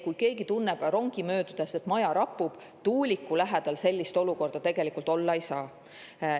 Kui keegi tunneb rongi möödudes, et maja rapub, siis tuuliku lähedal sellist olukorda tegelikult olla ei saa.